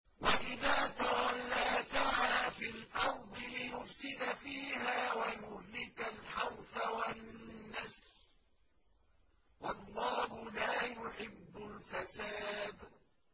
وَإِذَا تَوَلَّىٰ سَعَىٰ فِي الْأَرْضِ لِيُفْسِدَ فِيهَا وَيُهْلِكَ الْحَرْثَ وَالنَّسْلَ ۗ وَاللَّهُ لَا يُحِبُّ الْفَسَادَ